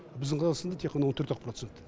біздің қазақстанда тек ғана он төрт ақ процент